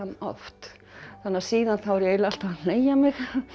oft þannig að síðan þá er ég eiginlega alltaf að hneigja mig